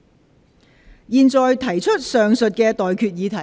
我現在向各位提出上述待決議題。